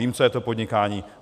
Vím, co je to podnikání.